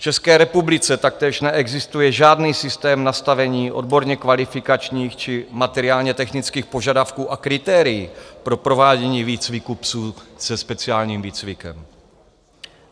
V České republice taktéž neexistuje žádný systém nastavení odborně kvalifikačních či materiálně-technických požadavků a kritérií pro provádění výcviku psů se speciálním výcvikem.